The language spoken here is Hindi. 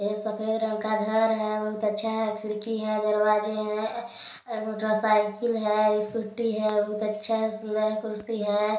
यह सफेद रंग का घर है बहुत अच्छा है खिड़की है दरवाजे है मोटरसाइकिल है स्कूटी है बहुत अच्छा है सुन्दर कुर्सी है।